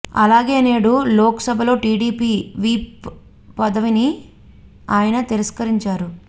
అలాగే నేడు లోక్ సభలో టీడీపీ విప్ పదవిని ఆయన తిరస్కరించారు